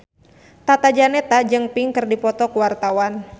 Tata Janeta jeung Pink keur dipoto ku wartawan